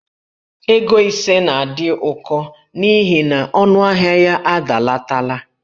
Ego ise na-adị ụkọ n'ihi na ọnụahịa ya adalatala.